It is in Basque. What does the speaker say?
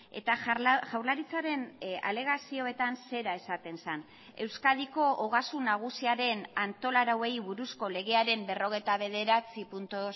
eta jaurlaritzaren alegazioetan zera esaten zen euskadiko ogasun nagusiaren antola arauei buruzko legearen berrogeita bederatzi puntu